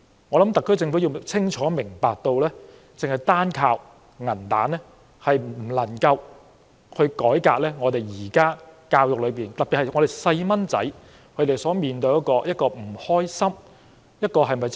我想特區政府清楚明白，單靠"銀彈"政策，是無法改革現時教育政策下的種種流弊，特別是小孩所面對的不愉快學習的問題。